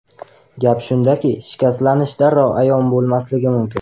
Gap shundaki, shikastlanish darrov ayon bo‘lmasligi mumkin.